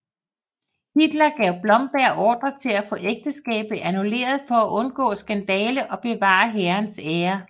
Hitler gav Blomberg ordre til at få ægteskabet annulleret for at undgå skandale og bevare hærens ære